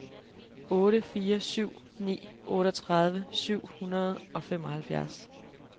otte fire syv ni otteogtredive syv hundrede og femoghalvfjerds